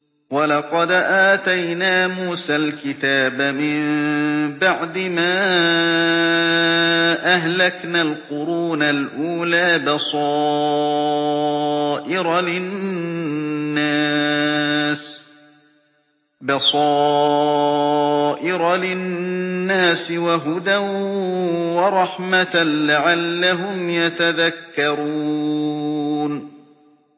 وَلَقَدْ آتَيْنَا مُوسَى الْكِتَابَ مِن بَعْدِ مَا أَهْلَكْنَا الْقُرُونَ الْأُولَىٰ بَصَائِرَ لِلنَّاسِ وَهُدًى وَرَحْمَةً لَّعَلَّهُمْ يَتَذَكَّرُونَ